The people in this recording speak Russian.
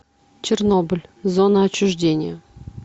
чернобыль зона отчуждения